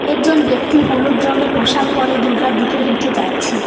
একজন ব্যক্তি হলুদ রঙ্গের পোশাক পরে দুর্গার দিকে হেঁটে যাচ্ছে।